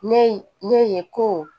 Ne ye ne ye ko